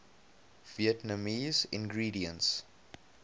vietnamese ingredients